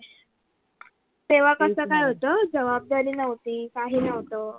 तेव्हा कस काय होत जवाबदारी नव्हती tension